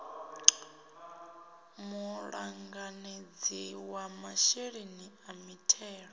muṱanganedzi wa masheleni a mithelo